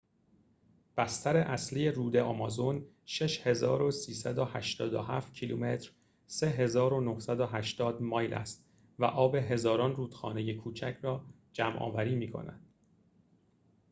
بستر اصلی رود آمازون 6387 کیلومتر 3980 مایل است و آب هزاران رودخانه کوچک را جمع‌آوری می‌کند